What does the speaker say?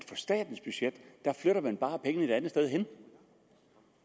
statens budget flytter man bare pengene et andet sted hen